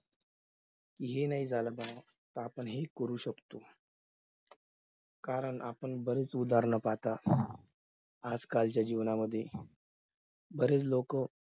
हे नाही झालं म्हणून तर आपण हे करू शकतो कारण आपण बरीच उदाहरण पाहत असतो आजकालच्या जीवनामध्ये बरेच लोक